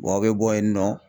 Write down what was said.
aw bɛ bɔ yen nɔ